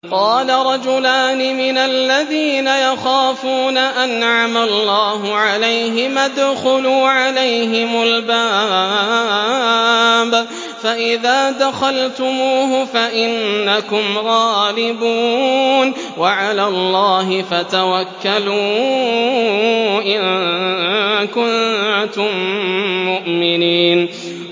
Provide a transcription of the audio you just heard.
قَالَ رَجُلَانِ مِنَ الَّذِينَ يَخَافُونَ أَنْعَمَ اللَّهُ عَلَيْهِمَا ادْخُلُوا عَلَيْهِمُ الْبَابَ فَإِذَا دَخَلْتُمُوهُ فَإِنَّكُمْ غَالِبُونَ ۚ وَعَلَى اللَّهِ فَتَوَكَّلُوا إِن كُنتُم مُّؤْمِنِينَ